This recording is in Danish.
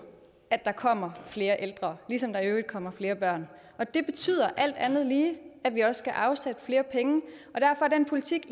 at der kommer flere ældre ligesom der i øvrigt kommer flere børn og det betyder alt andet lige at vi også skal afsætte flere penge derfor er den politik